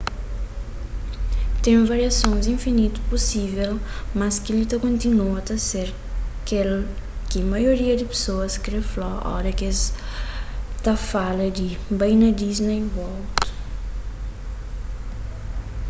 ten variasons infinitu pusível mas kel-li ta kontinua ta ser kel ki maioria di pesoas kre fla oras ki es ta fala di bai pa disney world